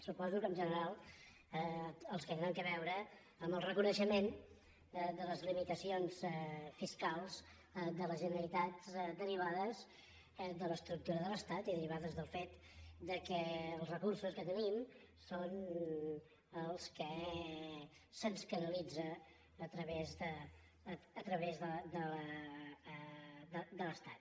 suposo que en general els que deuen tenir a veure amb el reconeixement de les limitacions fiscals de la generalitat derivades de l’estructura de l’estat i derivades del fet que els recursos que tenim són els que se’ns canalitza a través de l’estat